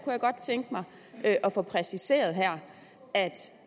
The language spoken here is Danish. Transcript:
jeg godt tænke mig at få præciseret her